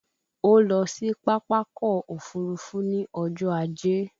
O lọ sí Pápákọ̀ òfurufú ní ọjọ́ ajé